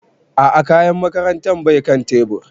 A'a kayan makarantar bai kan tebur